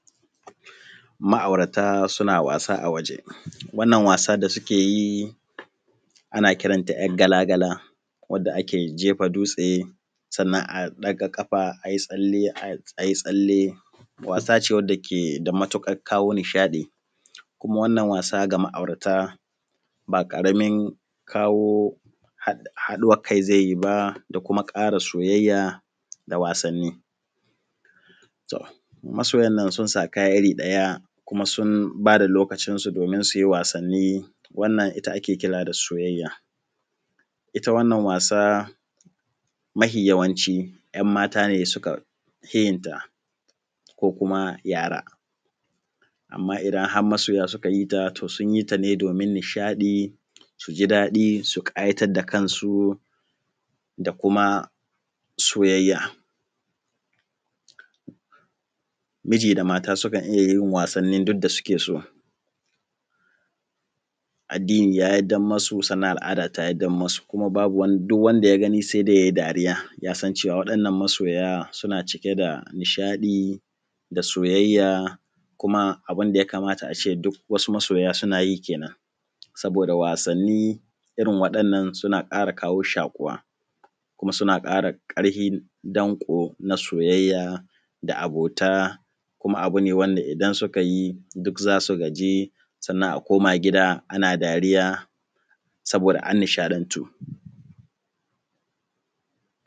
Ma’aurata suna wasa a waje. Wannan wasa da suke yi ana kiranta ‘yar gala gala, wadda ake jefa dutse sannan a daga kafa ayi tsalle, wasa ce wacce ke da maturƙa kawo nishaɗi, kuma wannan wasa ga ma’auta ba ƙaramin kawo haɗuwar kai zai yi ba da kuma ƙara soyayya da wasanni. To masoyan nan suna da kaya iri ɗaya kuma sun bada lokacinsu domin su yi wasannin wannan ita ake kira da soyayya. Ita wannan wasa mafi yawanci ‘yan mata ne suka fi yinta vvko kuma yara, amma idan har masoya suka yi ta to sun yi ta ne domin nishaɗi su ji daɗi su ƙayatar da kansu, da kuma soyayya. Miji da mata sukan iya yi wasanin duk da suke so, addini ya yardan musu kuma al’ada ta yardan musu, kuma babu duk wanda ya gani sai dai ya yi dariya yasan cewa wadannan masoya suna cike da nishadi da soyayya kuma abinda ya kamata ace duk wasu masoya suna yi kenen. Saboda wasannin irin wadannan suna kawo kara shakuwa kuma suna kara karhin dango na soyayya da abota, kuma abu ne wanda idan suka yi duk za su gaji sannan a koma gida saboda an nishaɗantu.